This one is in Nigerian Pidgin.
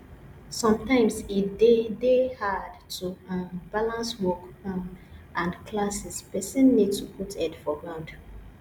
sometimes e de dey hard to um balance work um and classes person need to put head for ground